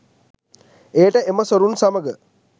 එයට එම සොරුන් සමග